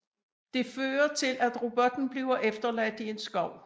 Det fører til at robotten bliver efterladt i en skov